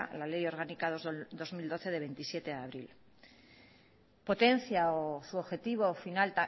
la ley orgánica dos barra dos mil doce de hogeita zazpi de abril potencia o su objetivo final